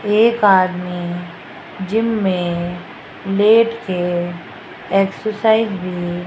एक आदमी जिम में लेट के एक्सरसाइज भी --